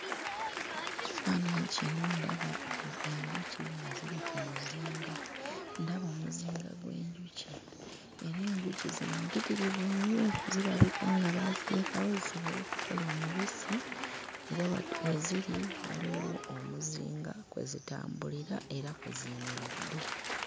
Mu kifaananyi kino ndaba enjuki nga ziri ku muzinga, ndaba omuzinga gw'enjuki era enjuki zino mpitirivu nnyo. Zirabika ng baaziteekawo zisobole okukola omubisi era we ziri waliwo omuzinga kwe zitambulira era kwe ziyimiridde.